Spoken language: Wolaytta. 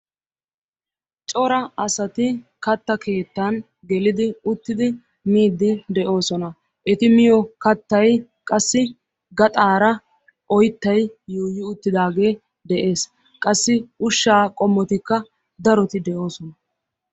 Cora asati katta keettan gelidi uttidi miiddi de'oosona. Eti miyo Kattayi qassi gaxaara oyttayi yuuyyi uttidaagee de'es. Qassi ushshaa qommotikka daroti de'oosona.